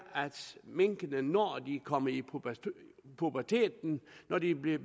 at minkene når de er kommet i puberteten når de er blevet